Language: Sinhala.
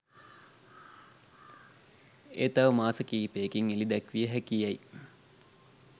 එය තව මාස කීපයකින් එළිදැක්විය හැකියැයි